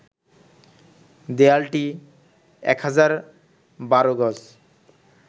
দেয়ালটি ১,০১২ গজ